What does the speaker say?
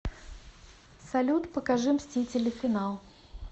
салют покажи мстители финал